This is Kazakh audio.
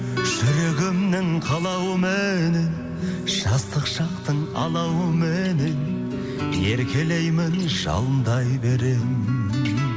жүрегімнің қалауыменен жастық шақтың алауыменен еркелеймін жалындай беремін